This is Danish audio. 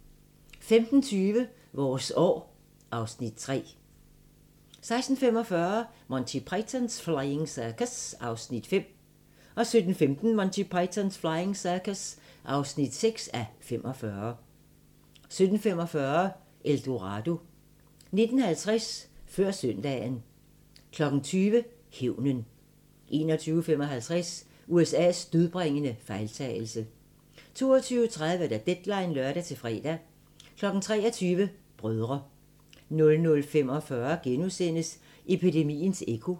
15:20: Vores år (Afs. 3) 16:45: Monty Python's Flying Circus (5:45) 17:15: Monty Python's Flying Circus (6:45) 17:45: El Dorado 19:50: Før søndagen 20:00: Hævnen 21:55: USA's dødbringende fejltagelse 22:30: Deadline (lør-fre) 23:00: Brødre 00:45: Epidemiens ekko *